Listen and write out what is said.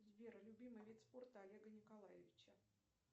сбер любимый вид спорта олега николаевича